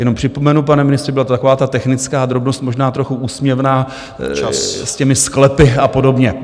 Jenom připomenu, pane ministře, byla to taková ta technická drobnost, možná trochu úsměvná, s těmi sklepy a podobně.